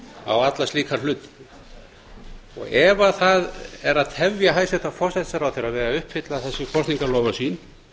á alla slíka hluti ef það er að tefja hæstvirtan forsætisráðherra við að uppfylla þessi kosningaloforð sín